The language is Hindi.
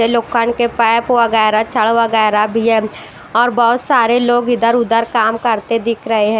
लोखंड के पाइप वैगरह वगैरह भी है और बहोत सारे लोग इधर उधर काम करते दिख रहे हैं।